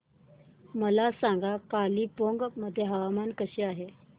मला सांगा कालिंपोंग मध्ये हवामान कसे आहे